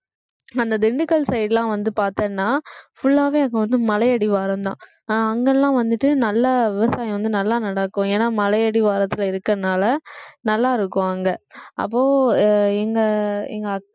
அந்த திண்டுக்கல் side லாம் வந்து பார்த்தேன்னா full ஆவே அங்க வந்து மலை அடிவாரம்தான் அஹ் அங்கெல்லாம் வந்துட்டு நல்லா விவசாயம் வந்து நல்லா நடக்கும் ஏன்னா மலை அடிவாரத்துல இருக்குறதுனால நல்லா இருக்கும் அங்க அப்போ அஹ் எங்க எங்க அக்~